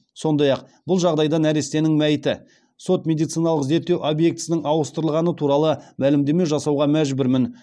сондай ақ бұл жағдайда нәрестенің мәйіті сот медициналық зерттеу объектісінің ауыстырылғаны туралы мәлімдеме жасауға мәжбүрмін